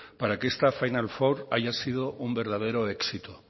para que esta final four haya sido un verdadero éxito